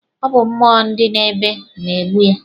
Ọ bụ mmụọ ndị na-ede na-egbu ha.